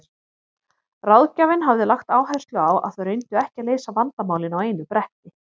Ráðgjafinn hafði lagt áherslu á að þau reyndu ekki að leysa vandamálin á einu bretti.